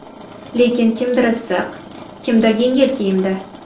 Lekin kimdir issiq, kimdir yengil kiyimda.